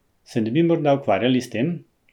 Se ne bi morda ukvarjali s tem?